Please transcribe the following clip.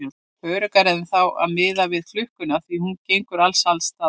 Öruggara er þá að miða við klukkuna því að hún gengur alls staðar eins.